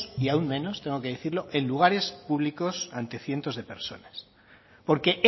y aún menos tengo que decirlo en lugares públicos ante cientos de personas porque